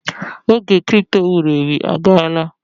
Oge kripto wuru ewu agaala.